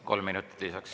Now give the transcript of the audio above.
Kolm minutit lisaks.